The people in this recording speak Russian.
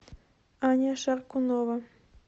аня шаркунова